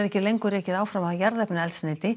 ekki lengur rekið áfram af jarðefnaeldsneyti